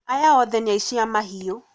Aya othe nĩ aici a mahiũ